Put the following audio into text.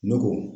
Ne ko